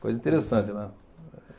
Coisa interessante, né?